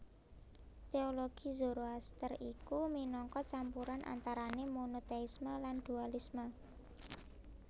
Téologi Zoroaster iku minangka campuran antarané monotéisme lan dualisme